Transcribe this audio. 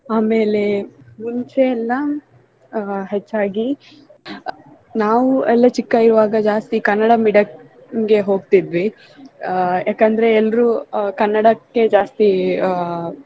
ಆಮೇಲೆ ಮುಂಚೆ ಎಲ್ಲಾ ಆ ಹೆಚ್ಚಾಗಿ ನಾವು ಎಲ್ಲ ಚಿಕ್ಕ ಇರುವಾಗ ಜಾಸ್ತಿ ಕನ್ನಡ medium ಗೆ ಹೋಗ್ತಿದ್ವಿ ಆ ಏಕಂದ್ರೆ ಎಲ್ರೂ ಕನ್ನಡಕ್ಕೆ ಜಾಸ್ತಿ ಆಹ್